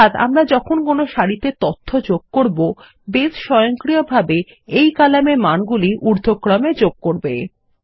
অর্থাৎ আমরা যখন কোনো সারিতে তথ্য যোগ করব বাসে স্বয়ংক্রিয়ভাবে এই কলামের তথ্যগুলি ঊর্ধ্বক্রম এ যোগ করবে